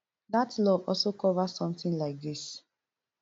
dat law also cover sometin like dis